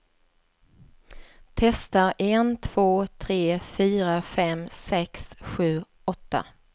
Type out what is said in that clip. Testar en två tre fyra fem sex sju åtta.